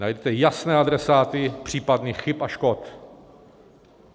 Najdete jasné adresáty případných chyb a škody.